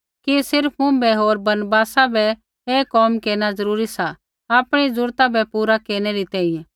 कि सिर्फ़ मुँभै होर बरनबासा बै ही कोम केरना ज़रूरी सा आपणी ज़रूरत बै पूरा केरनै री तैंईंयैं